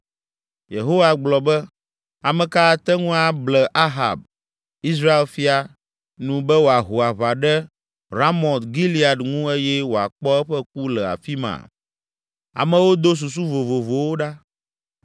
Yehowa gblɔ be, ‘Ame ka ate ŋu able Ahab, Israel fia, nu be wòaho aʋa ɖe Ramot Gilead ŋu eye wòakpɔ eƒe ku le afi ma?’ “Amewo do susu vovovowo ɖa.